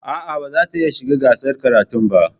A'a, ba zata iya shiga gasar karatun ba.